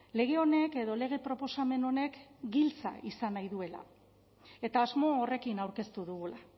lege honek edo lege proposamen honek giltza izan nahi duela eta asmo horrekin aurkeztu dugula